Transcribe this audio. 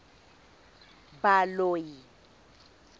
baloi